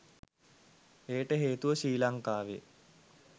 එයට හේතුව ශ්‍රී ලංකාවේ